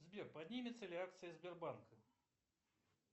сбер поднимутся ли акции сбербанка